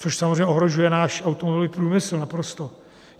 Což samozřejmě ohrožuje náš automobilový průmysl naprosto.